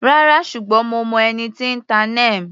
Rárá, ṣùgbọ́n mo mọ ẹni tí n ta Neem.